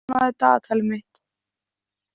Hafnar, opnaðu dagatalið mitt.